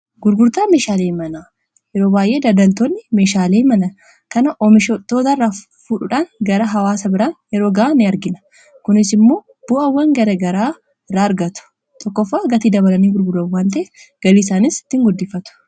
gurgurtaa meeshaalee mana yeroo baayyee daadaltoonni meeshaalee mana kana oomishtoota irraa fudhuudhaan gara hawaasa biraan yeroo ga'an in argina kunis immoo bu'aawwan gara garaa irraa argatu tokkoffa gatii dabalanii gurguran waan ta'eef galii isaanis ittiin ni guddifatu.